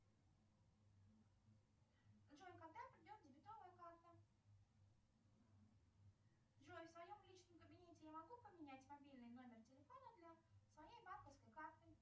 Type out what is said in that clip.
джой когда придет дебетовая карта джой в своем личном кабинете я могу поменять мобильный номер телефона для своей банковской карты